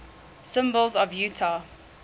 symbols of utah